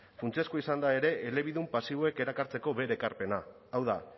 funtsezkoa izan da ere elebidun pasiboek erakartzeko bere ekarpena hau da